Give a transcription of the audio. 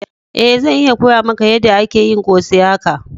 Eh, zan iya koya maka yada ake yin kose haka.